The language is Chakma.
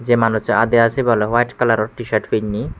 jay manus so adda sebay white kalalor te shirt pennay.